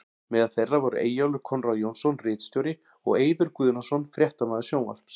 Meðal þeirra voru Eyjólfur Konráð Jónsson ritstjóri og og Eiður Guðnason fréttamaður sjónvarps.